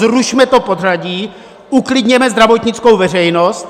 Zrušme to pořadí, uklidněme zdravotnickou veřejnost!